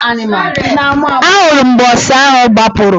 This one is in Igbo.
A hụrụ m mgbe ọsa ahụ gbapụrụ.